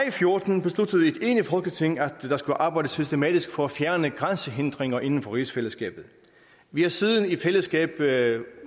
og fjorten besluttede et enigt folketing at der skulle arbejdes systematisk for at fjerne grænsehindringer inden for rigsfællesskabet vi har siden i fællesskab lavet